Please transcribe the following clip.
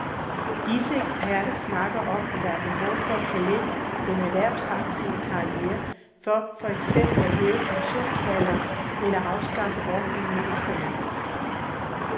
Disse eksperter snakker om, at der er behov for at forlænge den erhvervsaktive karriere, for eksempel ved at hæve pensionsalderen eller afskaffe ordningen med efterløn.